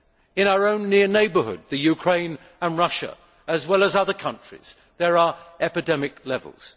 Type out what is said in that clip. In our own near neighbourhood, Ukraine and Russia, as well as other countries, there are epidemic levels.